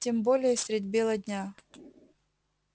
тем более средь бела дня